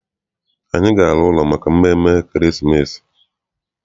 Anyị ga- ala ụlọ maka mmemme ekeresimesi.